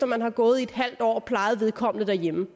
man har gået i et halvt år og plejet vedkommende derhjemme